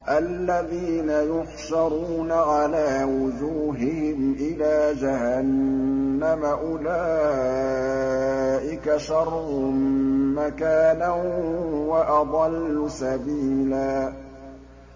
الَّذِينَ يُحْشَرُونَ عَلَىٰ وُجُوهِهِمْ إِلَىٰ جَهَنَّمَ أُولَٰئِكَ شَرٌّ مَّكَانًا وَأَضَلُّ سَبِيلًا